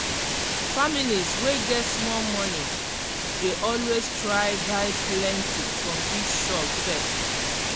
families wey get small money dey always try buy plenty from big shop first.